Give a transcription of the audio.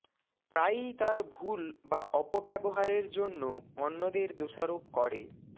প্রায়ই তার ভুল বা অপব্যবহারের জন্য অন্যদের দোষারোপ করে